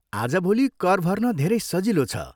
आजभोलि कर भर्न धेरै सजिलो छ।